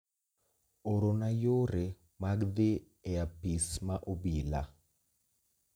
Orona yore mag dhi e apis ma obila